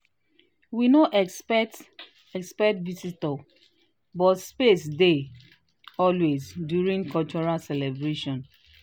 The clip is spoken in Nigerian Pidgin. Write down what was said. we no expect expect visitor but space dey always during cultural celebration